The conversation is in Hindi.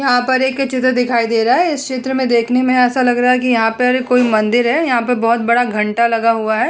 यहाँ पर एक चित्र दिखाई दे रहा है इस चित्र में देखने में ऐसा लग रहा है कि यहाँ पर कोई मंदिर है यहाँ पर बहोत बड़ा घंटा लगा हुआ है।